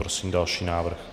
Prosím další návrh.